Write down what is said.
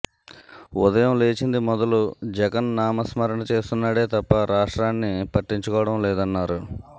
ఉదయం లేచింది మొదలు జగన్ నామస్మరణ చేస్తున్నాడే తప్ప రాష్ట్రాన్ని పట్టించుకోవడం లేదన్నారు